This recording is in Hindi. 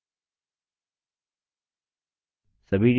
बचे हुए options filtered हुए हैं